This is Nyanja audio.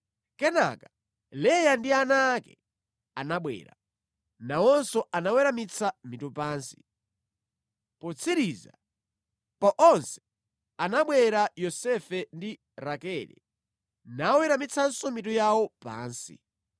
Kenaka, Leya ndi ana ake anabwera. Nawonso anaweramitsa mitu pansi. Potsiriza pa onse anabwera Yosefe ndi Rakele naweramitsanso mitu yawo pansi.